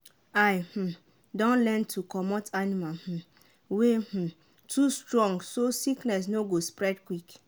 i um don learn to dey comot animal um wey um no too strong so sickness no go spread quick.